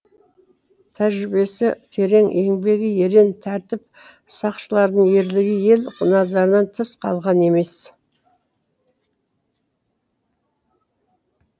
тәжірибесі терең еңбегі ерен тәртіп сақшыларының ерлігі ел назарынан тыс қалған емес